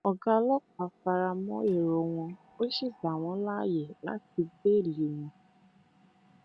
ọgá ọlọpàá fara mọ èrò wọn ó sì gbà wọn láàyè láti bẹẹlí wọn